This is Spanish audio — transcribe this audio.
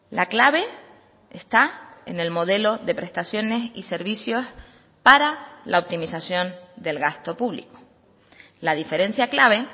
la clave está en el modelo de prestaciones y servicios para la optimización del gasto público la diferencia clave